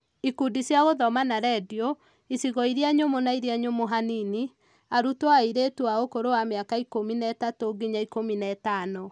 Ikundi cia gũthoma na rendio. Icigo iria nyũmũ na iria nyũmũ hanini ; arutwo airĩtu a ũkũrũ wa mĩaka ikũmi na ĩtatu nginya ikũmi na ĩtano.